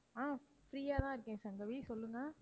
ஆஹ் free ஆ தான் இருக்கேன் சங்கவி சொல்லுங்க.